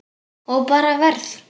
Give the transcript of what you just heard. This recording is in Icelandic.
Ég bara verð.